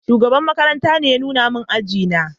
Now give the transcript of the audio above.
Shugaban makaranta ne ya nuna min aji na